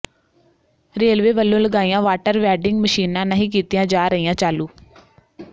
railway ਵੱਲੋਂ ਲਗਾਈਆਂ water vending ਮਸ਼ੀਨਾਂ ਨਹੀਂ ਕੀਤੀਆਂ ਜਾ ਰਹੀਆਂ ਚਾਲੂ